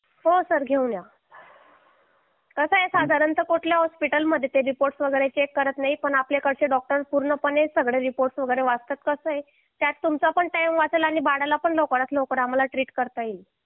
हो सर घेऊन या कसा आहे साधारणता कोणत्याही हॉस्पिटलमध्ये ते रिपोर्ट वगैरे चेक केले जात नाहीत पण आपल्याकडे डॉक्टर्स पूर्णपणे सगळे रिपोर्ट्स वगैरे वाचतात कसा आहे त्यात तुमचा पण टाईम वाचेल आणि बाळाला पण लवकरात लवकर आम्हाला ट्रिट करता येईल